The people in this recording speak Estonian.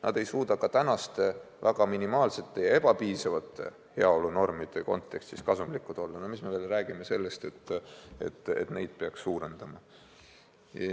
Nad ei suuda isegi praeguste minimaalsete ja ebapiisavate heaolunormide puhul kasumlikud olla, mis me siis räägime sellest, et et neid peaks karmistama.